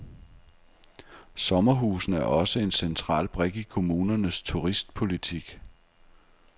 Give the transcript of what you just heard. Sommerhusene er også en central brik i kommunernes turistpolitik.